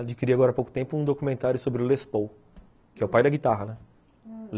Adquiri agora há pouco tempo um documentário sobre o Les Paul, que é o pai da guitarra, né.